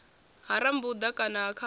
ha rambuḓa na ha khakhu